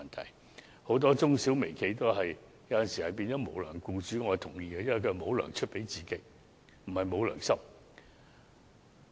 我認同很多中小微企有時會成為無"糧"僱主，因為他們沒能力出糧給僱員，而不是沒有良心。